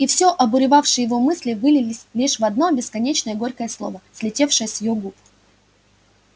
и всё обуревавшие её мысли вылились лишь в одно бесконечно горькое слово слетевшее с её губ